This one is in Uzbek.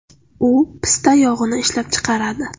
U pista yog‘ini ishlab chiqaradi.